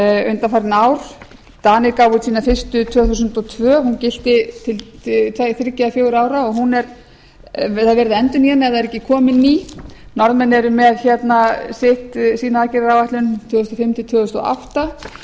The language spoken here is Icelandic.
undanfarin ár danir gáfu út sína fyrstu tvö þúsund og tvö hún gilti til þriggja eða fjögurra ára og það er verið að endurnýja hana ef það er ekki komin ný norðmenn eru með sína aðgerðaráætlun tvö þúsund og fimm til tvö þúsund og átta